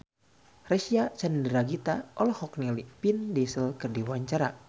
Reysa Chandragitta olohok ningali Vin Diesel keur diwawancara